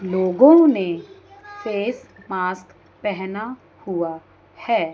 लोगों ने face mask पेहना हुआ है।